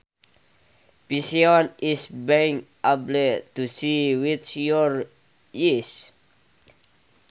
Vision is being able to see with your eyes